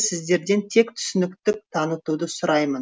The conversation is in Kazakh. сіздерден тек түсініктік танытуды сұраймын